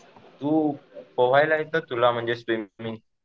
तू पोहायला येतं तुला म्हणजे स्विमिंग?